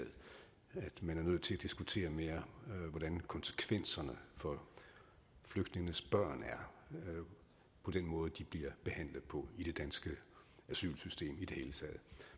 man er nødt til at diskutere mere hvordan konsekvenserne for flygtningenes børn er den måde de bliver behandlet på i det danske asylsystem i det hele taget